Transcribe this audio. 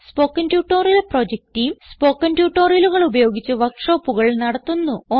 spoken tutorial project team spoken ട്യൂട്ടോറിയലുകൾ ഉപയോഗിച്ച് വർക്ക് ഷോപ്പുകൾ നടത്തുന്നു